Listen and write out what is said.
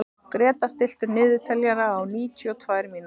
Gréta, stilltu niðurteljara á níutíu og tvær mínútur.